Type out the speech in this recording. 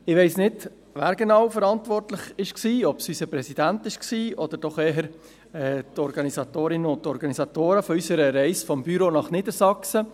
Ich weiss nicht, wer genau verantwortlich war – ob es unser Präsident war oder doch eher die Organisatorinnen und Organisatoren des Büros – für unsere Reise nach Niedersachsen.